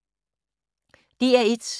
DR1